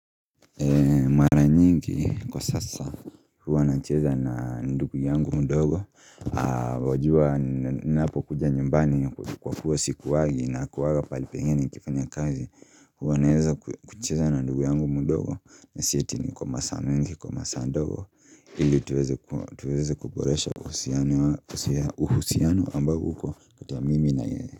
Nyingi kwa sasa huwa nacheza na ndugu yangu mdogo wajua ninapokuja nyumbani kwa kuwa sikuwangi nakuwanga pahali pengine nikifanya kazi, huwa naweza kucheza na ndugu yangu mdogo, na si eti ni kwa masaa mengi, kwa masaa ndogo ili tuweze kuboresha uhusiano ambao uko kati ya mimi na yeye.